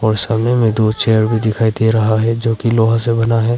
और सामने में दो चेयर भी दिखाई दे रहा है जो कि लोहा से बना है।